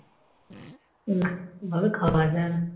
না এভাবে খাওয়া যায় না